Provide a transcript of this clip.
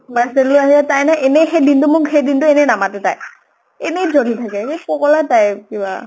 parcelও আহে, তাই নহয় এনেই সেই দিনতো মোক, সেই দিনতো এনেই নামাতে তাই । এনেই জ্বলি থাকে, সেই পগলা type কিবা ।